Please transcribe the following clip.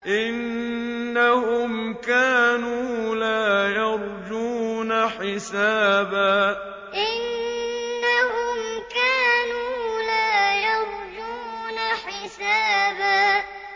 إِنَّهُمْ كَانُوا لَا يَرْجُونَ حِسَابًا إِنَّهُمْ كَانُوا لَا يَرْجُونَ حِسَابًا